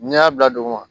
N'i y'a bila duguma